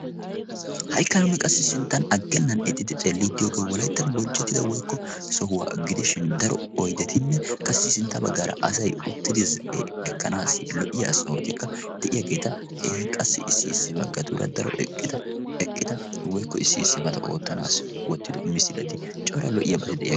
haikka nuunni qassi sinttan aggennan ixxidi xeelliiddiyoogee walaittan bonchchetida woikko sohuwaa gidishin daro oidetinne qassi sintta baggaara asai uttidi ekkanaassi lo"iya sohotikka de'iyaageeta ini qassi issi issi baggatuura daro d eqqida woikko issi issi bata oottanaassi wottido misilati cora lo"iyaabata de'iyaa